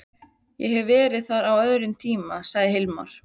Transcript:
Ég hef verið þar á öðrum tíma, sagði Hilmar.